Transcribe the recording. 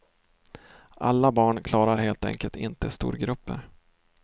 Alla barn klarar helt enkelt inte storgrupper.